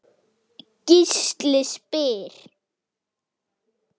Gísli spyr